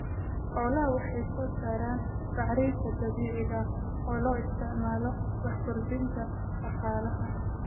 Xolaha waxay soo saaraan bacriinta dibiciiga oo loo isticmaalo wax kordinta daqaalaha.